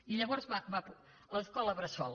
i llavors l’escola bressol